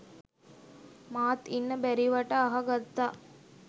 මාත් ඉන්න බැරිවට අහ ගත්තා